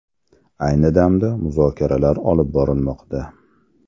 Ayni damda muzokaralar olib borilmoqda.